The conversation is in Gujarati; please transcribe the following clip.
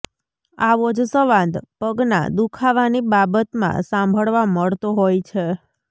આવો જ સંવાદ પગના દુઃખાવાની બાબતમાં સાંભળવા મળતો હોય છે